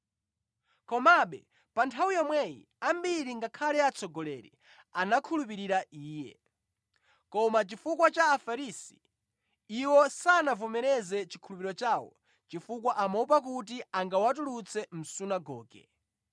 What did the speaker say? Komabe pa nthawi yomweyi ambiri ngakhale atsogoleri anakhulupirira Iye. Koma chifukwa cha Afarisi iwo sanavomereze chikhulupiriro chawo chifukwa amaopa kuti angawatulutse mʼsunagoge;